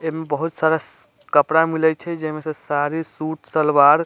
एमें बहुत सारा कपड़ा मिलई छई जे में से साड़ी सूट सलवार --